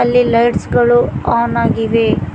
ಇಲ್ಲಿ ಲೈಟ್ಸ್ ಗಳು ಆನ್ ಆಗಿವೆ.